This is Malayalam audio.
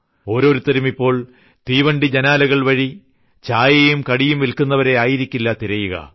ഓരോരുത്തരും ഇപ്പോൾ തീവണ്ടി ജനാലകൾവഴി ചായയും കടിയും വില്ക്കുന്നവരെ ആയിരിക്കില്ല തിരയുക